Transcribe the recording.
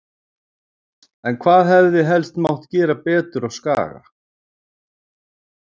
En hvað hefði helst mátt gera betur á Skaga?